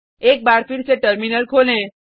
एक बार फिर से टर्मिनल खोलें